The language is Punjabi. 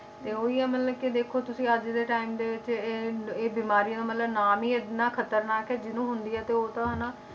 ਤੇ ਉਹੀ ਆ ਮਤਲਬ ਕਿ ਦੇਖੋ ਤੁਸੀਂ ਅੱਜ ਦੇ time ਦੇ ਵਿੱਚ ਇਹ ਇਹ ਬਿਮਾਰੀ ਨੂੰ ਮਤਲਬ ਨਾਮ ਹੀ ਇੰਨਾ ਖ਼ਤਰਨਾਕ ਹੈ ਜਿਹਨੂੰ ਹੁੰਦੀ ਹੈ ਤੇ ਉਹ ਤਾਂ ਹਨਾ,